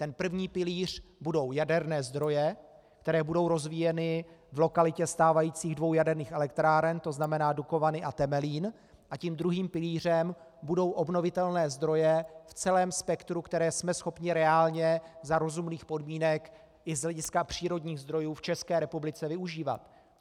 Ten první pilíř budou jaderné zdroje, které budou rozvíjeny v lokalitě stávajících dvou jaderných elektráren, to znamená Dukovany a Temelín, a tím druhým pilířem budou obnovitelné zdroje v celém spektru, které jsme schopni reálně, za rozumných podmínek i z hlediska přírodních zdrojů v České republice využívat.